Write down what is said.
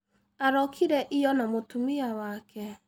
Arokĩre ĩyo na mũtumia wake.